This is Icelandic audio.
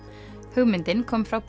hugmyndin kom frá